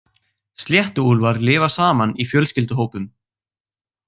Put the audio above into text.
Sléttuúlfar lifa saman í fjölskylduhópum.